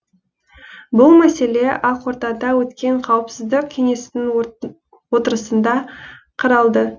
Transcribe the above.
бұл мәселе ақордада өткен қауіпсіздік кеңесінің отырысында қаралды